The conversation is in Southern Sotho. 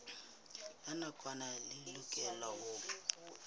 la nakwana le lokelwang ho